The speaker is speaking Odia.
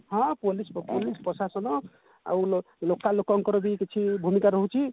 ହଁ police ପ police ପ୍ରଶାସନ ଆଉ ଲୋ local ଲୋକଙ୍କର ଯଉ କିଛି ଭୂମିକା ରହୁଛି